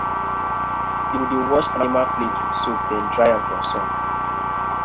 we dey wash animal plate with soap then dry am for sun.